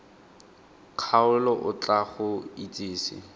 kgaolo o tla go itsise